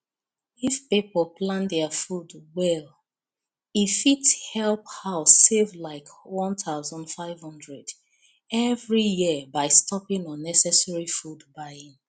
if people plan their food well e fit help house save like one thousand five hundred every year by stopping unnecessary food buying